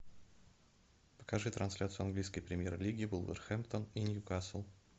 покажи трансляцию английской премьер лиги вулверхэмптон и ньюкасл